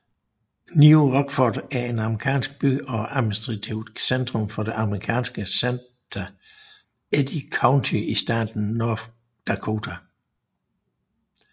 New Rockford er en amerikansk by og administrativt centrum for det amerikanske county Eddy County i staten North Dakota